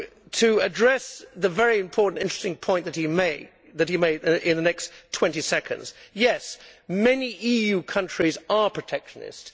To address the very important and interesting point that he made in the next 20 seconds yes, many EU countries are protectionist.